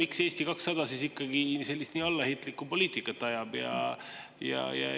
Miks Eesti 200 ikkagi nii allaheitlikku poliitikat ajab?